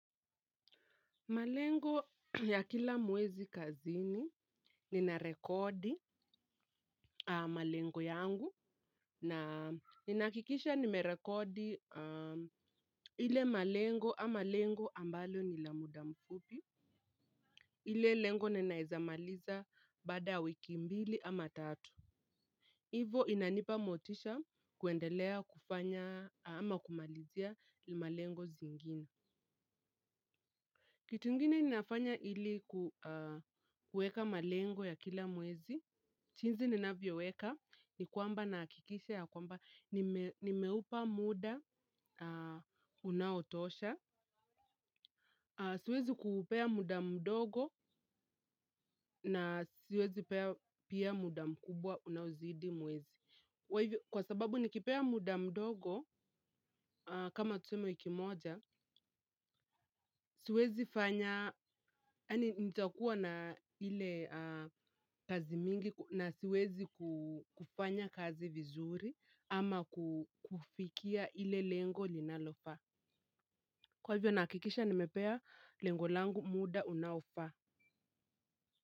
Malengo ya kila mwezi kazini nina rekodi malengo yangu na ninahakikisha nimerekodi ile malengo ama lengo ambalo ni la muda mfupi, ile lengo na naeza maliza baada ya wiki mbili ama tatu. Hivo inanipa motisha kuendelea kufanya ama kumalizia ile malengo zingine. Kitu ingine ninafanya ili kueka malengo ya kila mwezi. Jinsi ninavyoweka ni kwamba nahakikisha ya kwamba nimeupa muda unaotosha. Siwezi kuupea muda mdogo na siwezi pea pia muda mkubwa unaozidi mwezi. Kwa hivyo kwa sababu nikipea muda mdogo kama tuseme wiki moja siwezi fanya yani nitakuwa na ile kazi mingi na siwezi kufanya kazi vizuri ama kufikia ile lengo linalofaa kwa hivyo nahakikisha nimepea lengo langu muda unaofaa.